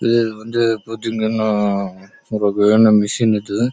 இது வந்து பதிங்க இது